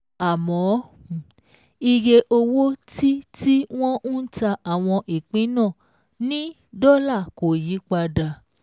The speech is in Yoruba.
Àmọ́, iye owó tí tí wọ́n ń ta àwọn ìpín náà ní dọ́là kò yí padà.